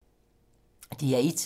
DR1